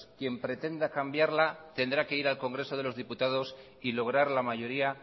quien pretenda cambiarla tendrá que ir al congreso de los diputados y lograr la mayoría